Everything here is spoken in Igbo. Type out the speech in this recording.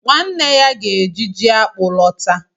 Nwanne ya ga-eji ji akpu lọta.